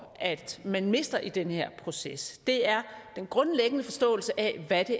at man mister i den her proces er den grundlæggende forståelse af hvad det